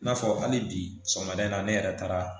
I n'a fɔ hali bi sɔgɔmada in na ne yɛrɛ taara